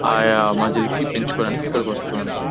ఆ మజిల్ కి పెంచుకోవడానికి ఇక్కడ వస్తూ ఉంటారు.